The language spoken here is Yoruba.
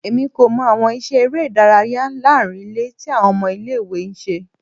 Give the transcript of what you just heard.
Emi ko mọ awọn iṣẹ ere idaraya laarin ile ti awọn ọmọ ile-iwe n ṣe